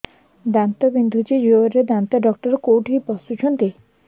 ଦାନ୍ତ ବିନ୍ଧୁଛି ଜୋରରେ ଦାନ୍ତ ଡକ୍ଟର କୋଉଠି ବସୁଛନ୍ତି